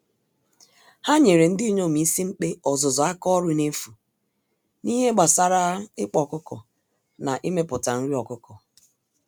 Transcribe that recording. Ha nyèrè ndinyom ísì-mkpe ọzụzụ àkà ọrụ nefu, n'ihe gbásárá ịkpa ọkụkọ na imepụta nri ọkụkọ.